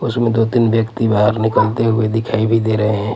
उसमें दो तीन व्यक्ति बाहर निकलते हुए दिखाई भी दे रहे हैं.